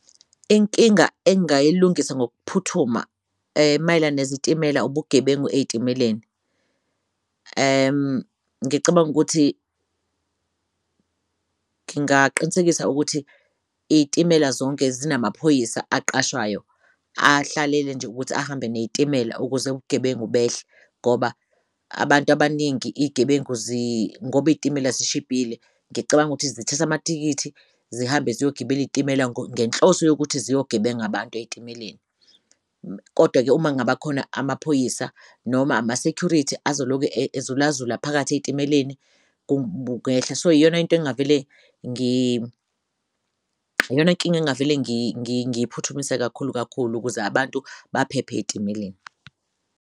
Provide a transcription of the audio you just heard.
Inkinga engayilungisa ngokuphuthuma mayelana nezitimela ubugebengu ey'timeleni. Ngicabang'ukuthi ngingaqinisekisa ukuthi iy'timela zonke zinama phoyisa aqashwayo ahlalele nje ukuthi ahambe ney'timela ukuze ubugebengu behle ngoba abant'abaningi ngob'iy'timela zishibhile ngicabanga ukuthi zithath'amathikithi zihambe ziyogibela iy'timela ngenhloso yokuthi ziyogebeng'abantu ey'timeleni. Kodwa-ke uma kungabakhona amaphoyisa noma ama-security azoloku ezulazula phakathi ey'timeleni kungehla so iyona nkinga engingavele ngiyiphuthumise kakhulu kakhulu ukuze abantu baphephe ey'timeleni.